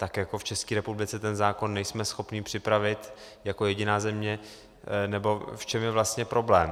To jako v České republice ten zákon nejsme schopni připravit jako jediná země, nebo v čem je vlastně problém?